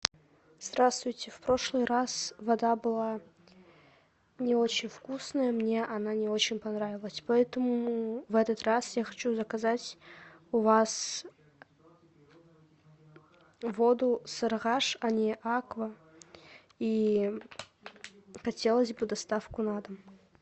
здравствуйте в прошлый раз вода была не очень вкусная мне она не очень понравилась поэтому в этот раз я хочу заказать у вас воду сарыагаш а не аква и хотелось бы доставку на дом